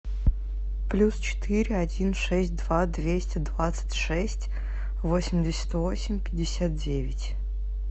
плюс четыре один шесть два двести двадцать шесть восемьдесят восемь пятьдесят девять